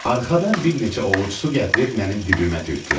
Arxadan bir neçə ovuc su gətirib mənim dibimə tökdülər.